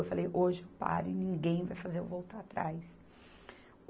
Eu falei, hoje eu paro e ninguém vai fazer eu voltar atrás.